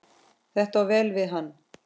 Þetta á vel við hann.